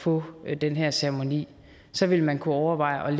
få den her ceremoni så ville man kunne overveje at